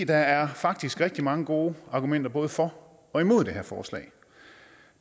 der er faktisk rigtig mange gode argumenter både for og imod det her forslag